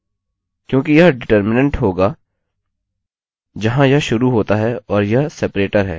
क्योंकि यह डिटर्मिनेंट होगा जहाँ यह शुरू होता है और यह सेपरेटर है